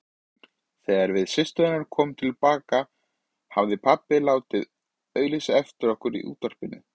Þegar við systurnar komum til baka hafði pabbi látið auglýsa eftir okkur í útvarpinu.